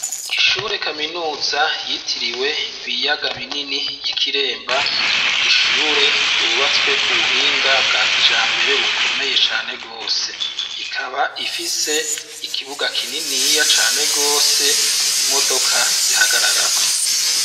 Ishure kaminuza yitiriwe ibiyaga binini y'Ikiremba, ni ishure yubatswe ku buhinga bwa kijambere bukomeye cane gose. Ikaba ifise ikibuga kininiya cane gose, imodoka zihagararako.